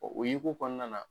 Ɔ o yeko kɔnɔna na